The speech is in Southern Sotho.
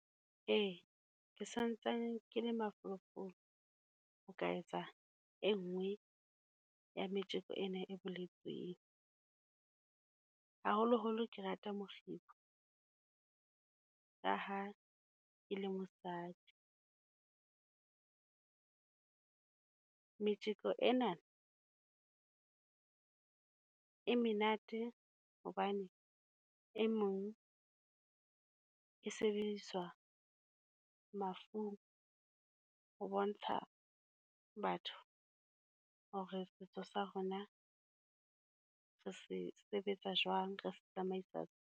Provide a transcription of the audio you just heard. Ee, ke santsane ke le mafolofolo, ho ka etsa e nngwe ya metjeko ena e boletsweng. Haholoholo ke rata mokgibo, ka ha ke le mosadi. Metjeko ena e menate hobane e mong, e sebediswa mafung ho bontsha batho hore setso sa rona re se sebetsa jwang, re tsamaisa.